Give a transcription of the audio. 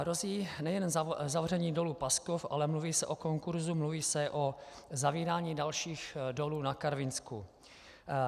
Hrozí nejen zavření dolu Paskov, ale mluví se o konkursu, mluví se o zavírání dalších dolů na Karvinsku.